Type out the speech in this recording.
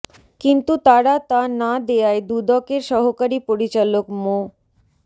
কিন্তু তারা তা না দেয়ায় দুদকের সহকারী পরিচালক মো